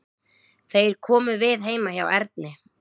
Þeir komu við heima hjá Erni.